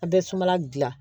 A bɛ sumala dilan